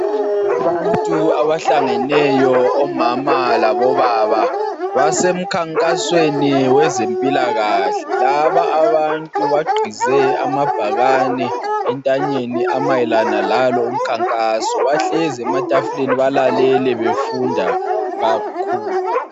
Abantu abahlangeneyo omama labobaba, basemkhankasweni wezempilakahle. Laba abantu baqgize amabhakane entanyeni amayelana lalo umkhankaso, bahlezi ematafuleni balalele befunda kakhulu.